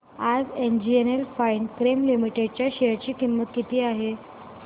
आज NGL Finechem limited च्या share ची किंमत किती आहे